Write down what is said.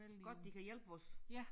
Godt de kan hjælpe os